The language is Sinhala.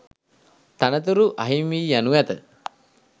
තනතුරු අහිමිවීයනු ඇත